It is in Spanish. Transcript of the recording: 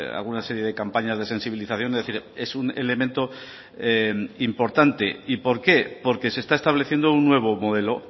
alguna serie de campañas de sensibilización es decir es un elemento importante y por qué porque se está estableciendo un nuevo modelo